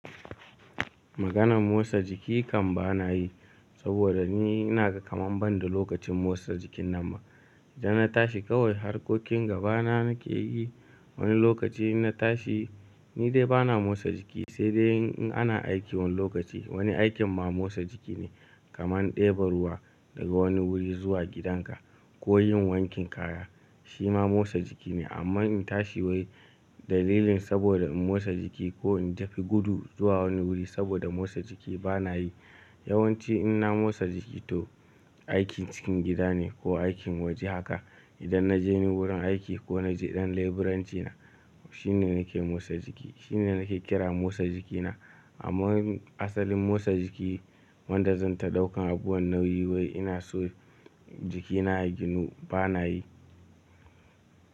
Maganan motsa jiki kam ba na yi, saboda ni inaga kaman ban da lokacin motsa jikin nan ma. Idan na tashi kawai harkokin gaba na nake yi. Wani lokaci ina tashi ni dai ba na motsa jiki, sai dai in ana aiki wani lokaci. Wani aikin ma motsa jiki ne, kaman ɗeba ruwa daga wani wuri zuwa gidan ka ko yin wankin kaya, shi ma motsa jiki ne. Amma in tashi wai dalilin saboda in motsa jiki ko in tafi gudu zuwa wani wuri saboda motsa jiki ba na yi. Yawan ci ina motsa jiki to aikin cikin gida ne ko aikin waje haka. Idan na je wurin aiki ko na je ɗan leburanci na, shine nake motsa jiki, shine nake kira motsa jiki na. Amma asalin motsa jiki wanda zan ta ɗaukan abuwan nauyi wai ina so jikina ya ginu, ba na yi.